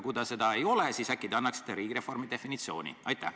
Kui ei ole, siis äkki te annaksite riigireformi definitsiooni.